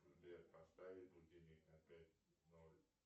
сбер поставить будильник на пять ноль